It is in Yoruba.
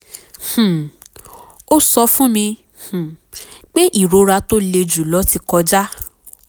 um ó sọ fún mi um pé ìrora tó le jùlọ ti kọjá